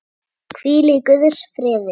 Hvíl í guðs friði.